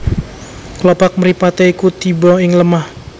Klopak mripaté iku tiba ing lemah